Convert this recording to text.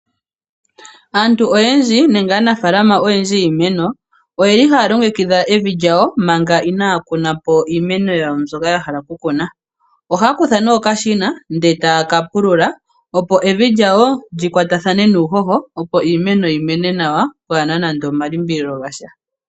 Aantu oyendji nenge aanafalama oyendji yiimeno, oye li haya longekidha evi lyawo manga inaaya kunapo iimeno yawo mbyoka yahala okukuna. Ohaya kutha nee okashina, e taya ka pulula, opo evil lyawo li kwatathane nuunoho, opo iimeno yimene nawa pwaana namde omalimbililo gasha.